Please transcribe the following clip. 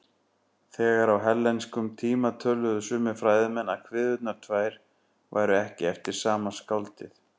Þegar á hellenískum tíma töldu sumir fræðimenn að kviðurnar tvær væru ekki eftir sama skáldið.